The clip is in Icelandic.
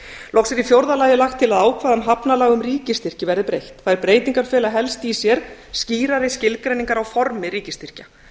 loks er í fjórða lagi lagt til að ákvæðum hafnalaga um ríkisstyrki verði breytt þær breytingar fela helst í sér skýrari skilgreiningar á formi ríkisstyrkja